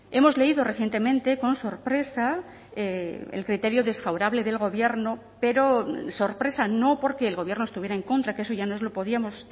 hemos leído recientemente con sorpresa el criterio desfavorable del gobierno pero sorpresa no porque el gobierno estuviera en contra que eso ya nos lo podíamos